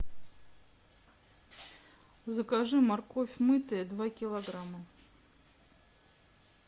закажи морковь мытая два килограмма